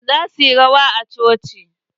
Yaran za suyi rawa a coci.